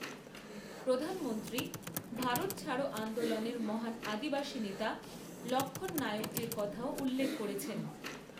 প্রধানমন্ত্রী ভারত ছাড়ো আন্দোলনের মহান আাদিবাসী নেতা লক্ষণ নায়কজির কথাও উল্লেখ করেছেন।